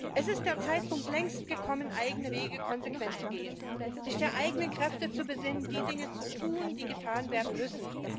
Es ist längst der Zeitpunkt gekommen, eigene Wege konsequent zu gehen, sich auf die eigenen Kräfte zu besinnen, die Dinge zu tun, die getan werden müssen.